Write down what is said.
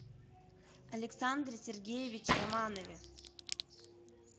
александре сергеевиче романове